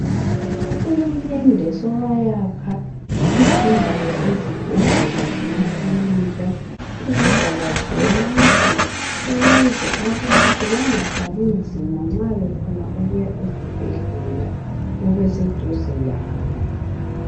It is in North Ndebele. Uhulumende sewayaka izindawo zezibhedlela lamakilinika, kuzigaba zonke. Ukuze abantu bangathwali nzima nxa sebefuna ukuya esibhedhlela sibe seduze labo.